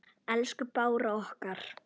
Elsku Bára okkar.